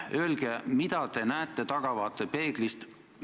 Öelge, mida te näete tahavaatepeeglist!